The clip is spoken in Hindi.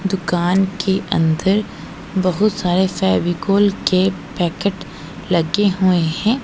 दुकान के अंदर बहुत सारे फेविकोल के पैकेट लगे हुए है।